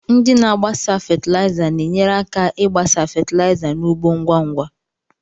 Ndị na-agbasa fatịlaịza na-enyere aka ịgbasa fatịlaịza n'ugbo ngwa ngwa.